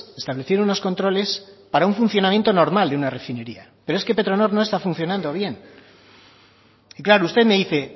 establecieron unos controles para un funcionamiento normal de una refinería pero es que petronor no está funcionando bien y claro usted me dice